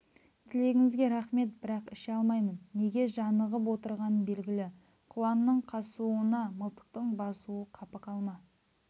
тілегіңізге рақмет бірақ іше алмаймын неге жанығып отырғаны белгілі құланның қасыуына мылтықтың басуы қапы қалма